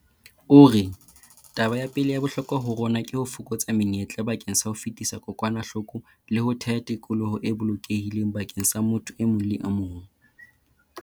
O re, "Taba ya pele ya bohlokwa ho rona ke ho fokotsa menyetla bakeng sa ho fetisa kokwanahloko le ho theha tikoloho e bolokehileng bakeng sa motho e mong le e mong."